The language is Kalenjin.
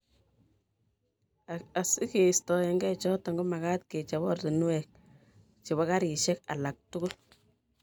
asigeistoege choto komagaat kechop oratinwek chebo karishek alak tugul